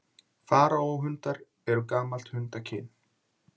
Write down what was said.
Faraó-hundar eru gamalt hundakyn.